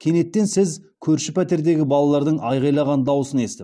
кенеттен сіз көрші пәтердегі балалардың айғайлаған даусын естіп